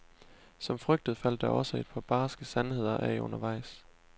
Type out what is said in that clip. Som frygtet faldt der også et par barske sandheder af undervejs.